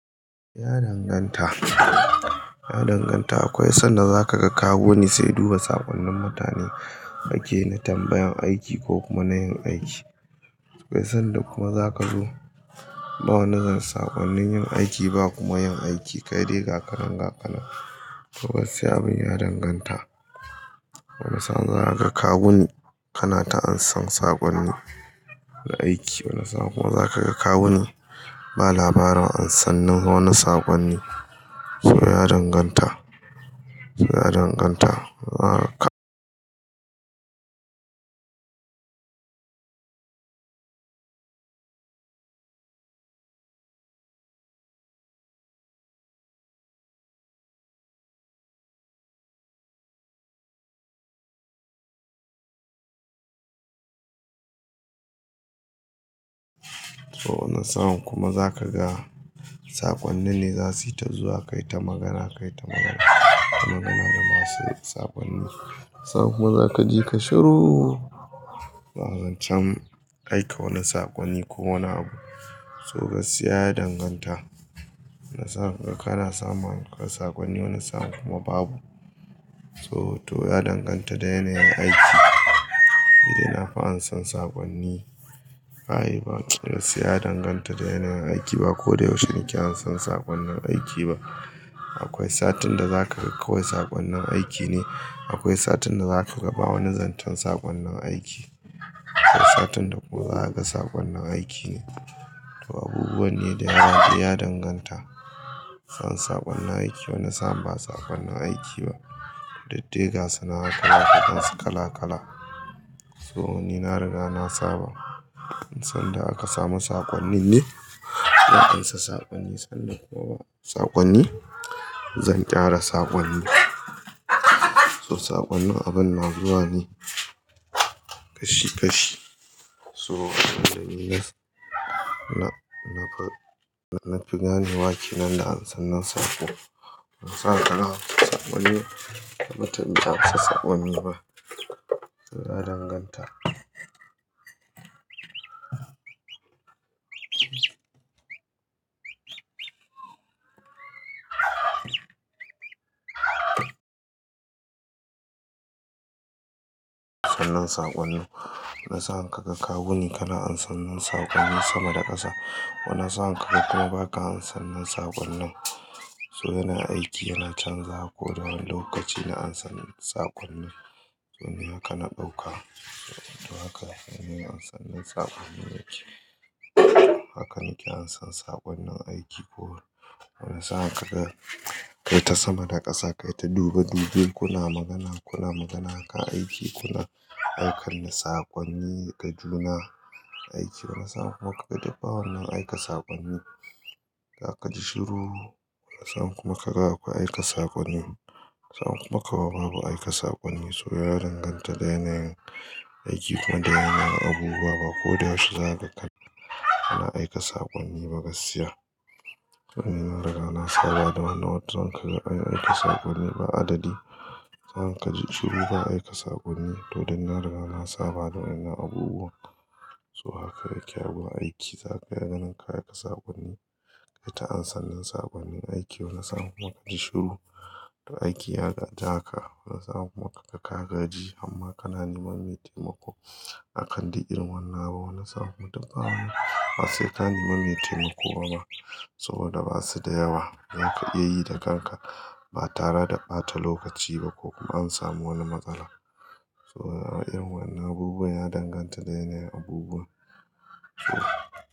Ya danganta. Ya danganta. Akwai sanda za ka ga kawu ne sai duba saƙonnin mutane ake na tambayan aiki ko kuma na yin aiki. Akwai sanda kuma za ka zo ba wani zance saƙonnin yin aiki ba kuma yin aiki. Kai dai gaka nan gaka nan. To gaskiya abin ya danganta. Wani sa'an zaka ga kawuni kana ta ansan saƙonni na aiki. Wani sa'an kuma za ka ga kawuni ba labarin ansan nan wani saƙonni. So ya danganta. Ya danganta. Ahaka sa'an kuma za ka ga saƙonni ne za su yi ta zuwa kai ta magana kai ta magana. Kana magana da masu saƙonni. Wani sa'an kuma za ka ji ka shiru. Ba zan can aika wani saƙonni ko wani abu. So gaskiya ya danganta. Wani sa'an ka ga kana samn kai saƙonni. Wani sa'an kuma babu. To to ya danganta da yanayin aiki. Ni nafi ansan saƙonni, ka yi ba. Gaskiya ya danganta da yanayin aiki ba ko da yaushe nake ansan saƙonnin aiki ba. Akwai satin da za ka ga kawai saƙonnin aiki ne. Akwai satin da za ka ga ba wani zancen saƙonnin aiki. Akwai satin da kuma za ka ga saƙonnin aiki ne. To abubuwan ne da yanayi ya danganta. Wani sa'an saƙonnin aiki. Wani sa'an ba saƙonnin aiki ba. Dukdai ga sana'a kala-kalansu kala-kala. So ni na riga na saba. Sanda aka samu saƙonni ne. Da ansa saƙonni sanda kuma ba saƙonni. Zan ƙara saƙonni. So saƙonni abin na zuwa ne kashi kashi. So inda ni na, nan, na fi gane wa ke nan da ansan nan saƙo. Wani sa'an ka ga saƙonni da ba tana ansan saƙonni ba. Ya danganta. Ansan nan saƙonni. Wani sa'an ka ga kawu ne kana ansan nan saƙonni sama da ƙasa. Wani sa'an ka ga kana ba ka ansannin saƙonnin. So yana aiki yana canza ko da wani lokaci na ansan saƙonnin. To ni haka na ɗauka. To haka shine ansannin saƙonnin yake. Haka nake ansan saƙonnin aiki ko. Wani sa'an ka ga kai ta sama da ƙasa kai ta dube dube kuna magana kuna magana akan aiki kuna aika saƙonni ga juna aiki. Wani sa'an kuma ka ga duk ba wannan aika saƙonni. Zaka ji shiru. Wani sa'an kuma ka ga akwai aika saƙonni. Wani sa'an kuma ka ga babu aika saƙonni. So ya danganta da yanayin aiki kuma da yanayin abubuwa ba ko da yaushe za kana aika saƙonni ba gaskiya. To ni na riga na saba da wani nau'in zaka ga an aika saƙonni ba adadi. Sa'an ka ji shiru ba aika saƙonni. To dai na riga na saba da wadan nan abubuwan. So haka yake a wurin aiki. Zaka ga nan ka aika saƙonni. Kai ta ansanin saƙonnin aiki. Wani sa'an kuma ka ji shiru. To aiki ya gaji haka. Wani sa'an kuma ka ga ka gaji amma kana neman maitaima ko akan duk irin wannan abu. Wani sa'an kuma duka wannan ba sai ka nemi maitaima ko ba. Saboda ba su da yawa zaka iya yi da kanka ba tara da ɓata lokaci ba ko kuma an samu wani matsala. So irin wannan abubuwan ya danganta da yanayin abubuwa ko.